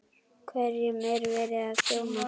Hverjum er verið að þjóna?